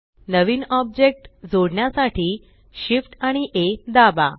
नवीन object जोडण्यासाठी Shift आणि A दाबा